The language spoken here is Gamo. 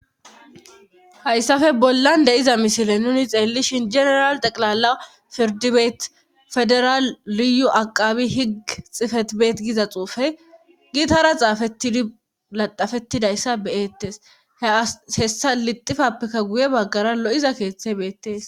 hayssafe bollan de7iza misile nuni xeellishin general teqilala pirdibeet federaal liyu aqabi higg xifetbeet giza xuufe giitahara xaafetladafettidayssa beyettes he a hessa lixifappekka guye baggara lo7iza keeththe beettes